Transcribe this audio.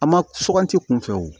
A ma suganti kunfɛ wo